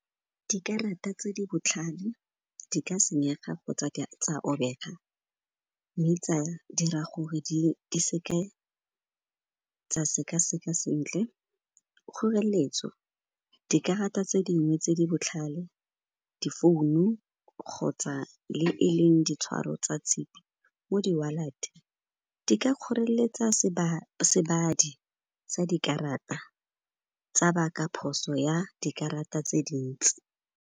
Dikarata tse di botlhale di ka senyega kgotsa tsa robega, mme tsa dira gore di seke tsa seka-seka sentle kgorelletso. Dikarata tse dingwe tse di botlhale, di-founu kgotsa le e leng ditshwaro tsa tshipi mo di-wallet, di ka kgorelletsa sebadi sa dikarata, tsa baka phoso ya dikarata tse dintsi.